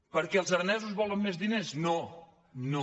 perquè els aranesos volen més diners no no